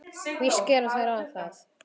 Víst gera þeir það!